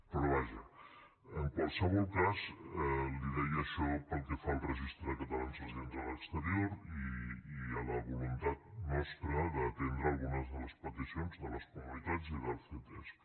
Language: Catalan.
però vaja en qualsevol cas li deia això pel que fa al registre de catalans residents a l’exterior i a la voluntat nostra d’atendre algunes de les peticions de les comunitats i del ctesc